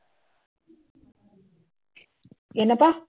என்னப்பா